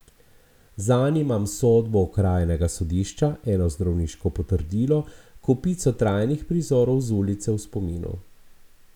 Zanj imam sodbo okrajnega sodišča, eno zdravniško potrdilo, kopico trajnih prizorov z ulice v spominu.